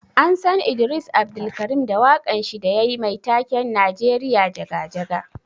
An San Idris Abdulkareem da wakan shi da yayi Mai taken 'Najeriya jaga jaga'.